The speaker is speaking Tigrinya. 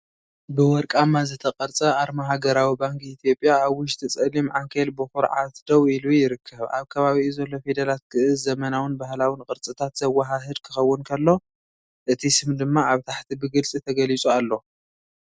"ብወርቃማ ዝተቐርጸ ኣርማ ሃገራዊ ባንክ ኢትዮጵያ ኣብ ውሽጢ ጸሊም ዓንኬል ብኹርዓት ደው ኢሉ ይርከብ። ኣብ ከባቢኡ ዘሎ ፊደላት ግእዝ ዘመናውን ባህላውን ቅርጽታት ዘወሃህድ ክኸውን ከሎ፡ እቲ ስም ድማ ኣብ ታሕቲ ብግልጺ ተገሊጹ ኣሎ።"